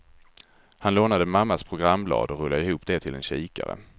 Han lånade mammas programblad och rullade ihop det till en kikare.